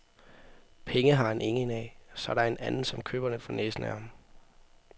Penge har han ingen af, så der er en anden, som køber den for næsen af ham.